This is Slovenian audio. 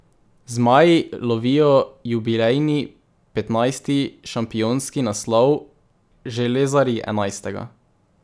Zmaji lovijo jubilejni petnajsti šampionski naslov, železarji enajstega.